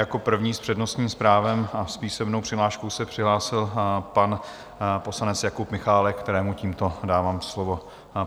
Jako první s přednostním právem a s písemnou přihláškou se přihlásil pan poslanec Jakub Michálek, kterému tímto dávám slovo.